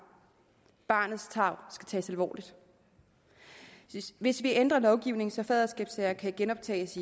barnets tarv skal tages alvorligt hvis vi ændrer lovgivningen så faderskabssager kan genoptages